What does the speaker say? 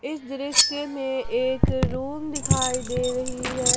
इस दृश्य में एक रूम दिखाई दे रही है।